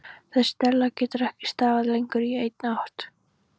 Þessi della getur ekki staðið lengur en í eitt ár.